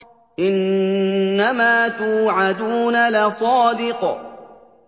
إِنَّمَا تُوعَدُونَ لَصَادِقٌ